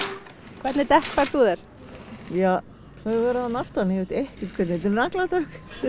hvernig dekk færð þú þér þau eru þarna aftan í ég veit ekkert þetta eru nagladekk